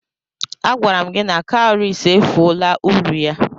Agwara m gi na cowries efuola uru ya.